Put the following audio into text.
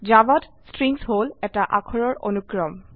জাভাত স্ট্ৰিং হল এটা অাখৰৰ অনুক্ৰম